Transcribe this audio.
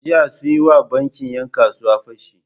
Jiya sun yi wa bankin ‘yan kasuwa fashi.